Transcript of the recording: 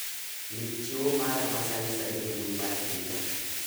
ndik chiwo mara ma sani sani e mbui mar twita